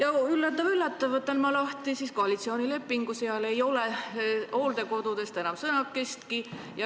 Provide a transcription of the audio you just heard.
Aga üllatus-üllatus: võtan lahti koalitsioonilepingu ja näen, et seal ei ole hooldekodudest enam sõnakestki.